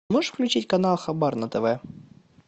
можешь включить канал хабар на тв